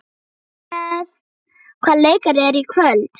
Rúnel, hvaða leikir eru í kvöld?